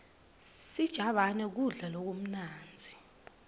sijabane kudla lokumnandzi